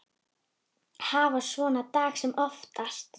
Hafa svona daga sem oftast.